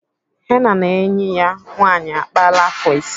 Henna na enyi ya nwaanyị akpaala afọ ise.